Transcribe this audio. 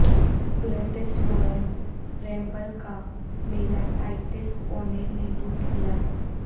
greatest royal rumble کا میلہ Titus O'Neil نے لوٹ لیا